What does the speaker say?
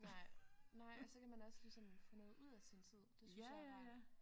Nej nej og så kan man også ligesom få noget ud af sin tid. Det synes jeg er rart